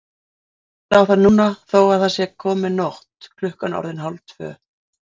Verður að kýla á það núna þó að það sé komin nótt, klukkan orðin hálftvö.